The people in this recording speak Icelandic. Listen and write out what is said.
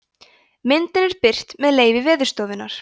myndin er birt með leyfi veðurstofunnar